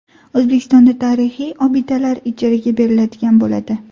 O‘zbekistonda tarixiy obidalar ijaraga beriladigan bo‘ladi.